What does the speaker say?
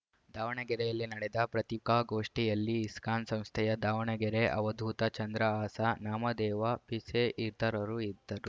ದಾವಣಗೆರೆಯಲ್ಲಿ ನಡೆದ ಪ್ರತಿಕಾಗೋಷ್ಠಿಯಲ್ಲಿ ಇಸ್ಕಾನ್‌ ಸಂಸ್ಥೆಯ ದಾವಣಗೆರೆ ಅವಧೂತ ಚಂದ್ರಹಾಸ ನಾಮದೇವ ಪಿಸೆ ಇತರರು ಇದ್ದರು